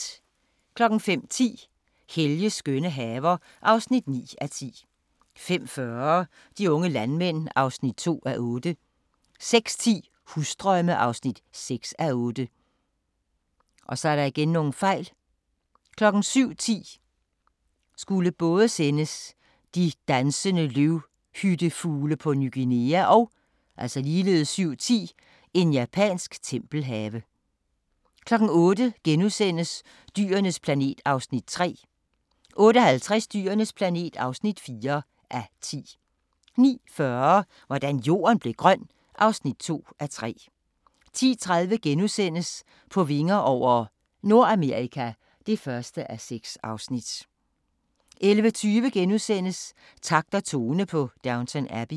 05:10: Helges skønne haver (9:10) 05:40: De unge landmænd (2:8) 06:10: Husdrømme (6:8) 07:10: De dansende løvhyttefugle på Ny Guinea 07:10: En japansk tempelhave 08:00: Dyrenes planet (3:10)* 08:50: Dyrenes planet (4:10) 09:40: Hvordan Jorden blev grøn (2:3) 10:30: På vinger over – Nordamerika (1:6)* 11:20: Takt og tone på Downton Abbey *